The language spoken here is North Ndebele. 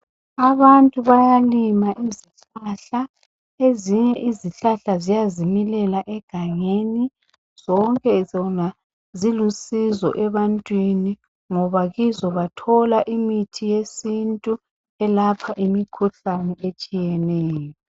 Abantu bayalima izihlahla. Ezinye uzihlahla ziyazimilela egangeni. Zonke zona zilusizo ebantwini ngoba bathola imithi yesintu elapha imikhuhlane etshiyeneyo.